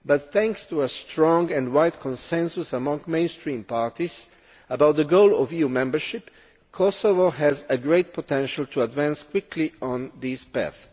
But, thanks to a strong and wide consensus amongst mainstream parties about the goal of EU membership, Kosovo has a great potential to advance quickly on this path.